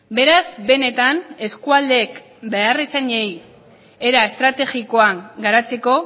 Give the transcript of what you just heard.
beraz benetan eskualdeek beharrizanei era estrategikoan garatzeko